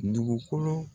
Dugukolo